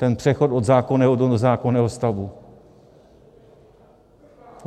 Ten přechod od zákonného do nezákonného stavu?